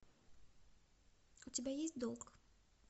у тебя есть долг